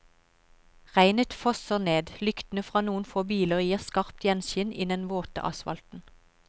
Regnet fosser ned, lyktene fra noen få biler gir skarpt gjenskinn i den våte asfalten.